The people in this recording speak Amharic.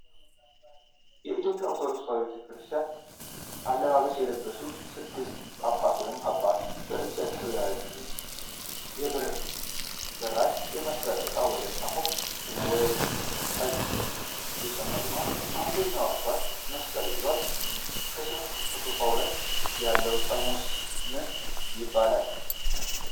የኢትዮጵያ ኦርቶዶክስ ተዋሕዶ ቤተ ክርስቲያን አለባበስ የለበሱ ስድስት ጳጳሳት ወይም አባቶች በእጃቸው ከያዙት የብር በራድ የመሰለ ዕቃ ወደ ሳፋው ውስጥ ጠጅ እየጨመሩ ነው። አንደኛው አባት መስቀል ይዟል። ከሳፋው ጎን ያለው ጠርሙስ ምን ይባላል?